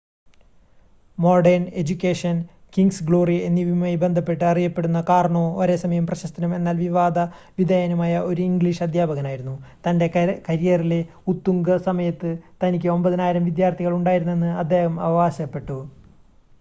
modern education king's glory എന്നിവയുമായി ബന്ധപ്പെട്ട് അറിയപ്പെടുന്ന കാർണോ ഒരേസമയം പ്രശസ്തനും എന്നാൽ വിവാദ വിധേയനുമായ ഒരു ഇംഗ്ലീഷ് അദ്ധ്യാപകനായിരുന്നു തൻ്റെ കരിയറിലെ ഉത്തുംഗ സമയത്ത് തനിക്ക് 9,000 വിദ്യാർത്ഥികൾ ഉണ്ടായിരുന്നുവെന്ന് അദ്ദേഹം അവകാശപ്പെട്ടു